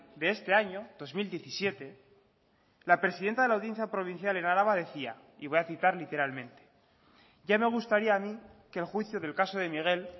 de este año dos mil diecisiete la presidenta de la audiencia provincial en araba decía y voy a citar literalmente ya me gustaría a mí que el juicio del caso de miguel